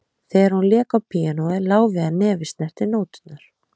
Þegar hún lék á píanóið lá við að nefið snerti nóturnar